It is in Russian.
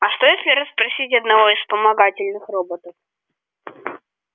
а что если расспросить одного из вспомогательных роботов